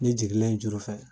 Ne jigilen in juru fɛ